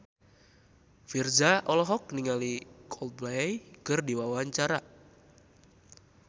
Virzha olohok ningali Coldplay keur diwawancara